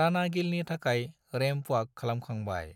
राणा गिलनि थाखाय ramp walk खालामखांबाय।